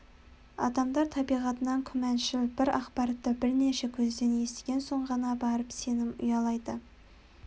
адамдар табиғатынан күмәншіл бір ақпаратты бірнеше көзден естіген соң ғана барып сенім ұялайды